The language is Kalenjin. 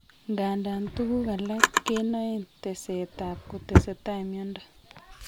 Nganda tuguk alak kenaen teset ab kotesetai miondo